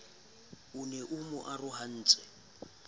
e ne e mo arohantse